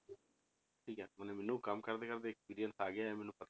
ਠੀਕ ਹੈ ਮਨੇ ਮੈਨੂੰ ਕੰਮ ਕਰਦੇ ਕਰਦੇ experience ਆ ਗਿਆ ਹੈ ਮੈਨੂੰ